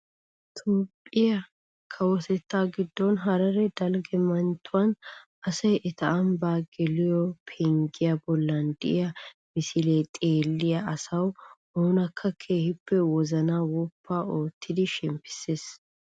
Toophphiyaa kawotettaa giddonharare dalgga manttiyaan asay eta ambbaa geliyoo penggiyaa bollan de'iyaa misilee xeelliyaa asaa oonakka keehippe wozanaa woppu oottidi shemppisees.